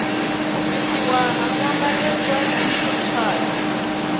u bvisiwa ha nambatedzwa tswayo